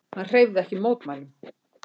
Hann hreyfði ekki mótmælum.